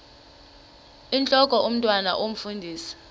intlok omntwan omfundisi